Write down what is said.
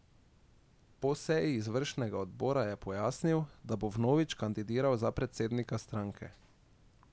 Po seji izvršnega odbora je pojasnil, da bo vnovič kandidiral za predsednika stranke.